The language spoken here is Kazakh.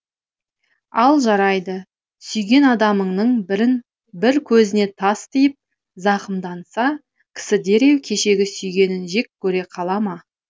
ал жарайды сүйген адамыңның бір көзіне тас тиіп зақымданса кісі дереу кешегі сүйгенін жек көре қала ма